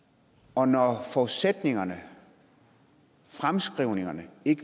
og når forudsætningerne fremskrivningerne